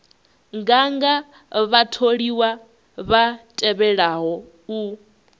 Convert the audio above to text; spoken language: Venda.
nganga vhatholiwa vha tevhelaho u